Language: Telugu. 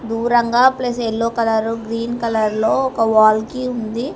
దూరంగా ప్లస్ యెల్లో కలరు గ్రీన్ కలర్లో ఒక వాల్ కి ఉంది.